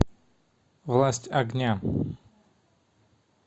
власть огня